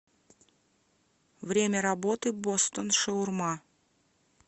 время работы бостон шаурма